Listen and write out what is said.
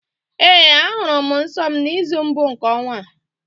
Ee, ahụrụ m nsọ m n'izu mbụ nke ọnwa a